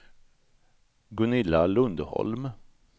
Gunilla Lundholm